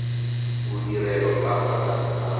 bodirelo ka fa tlase ga